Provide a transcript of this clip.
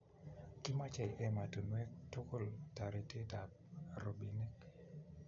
kimechei emotinwek tugul toritetab robinik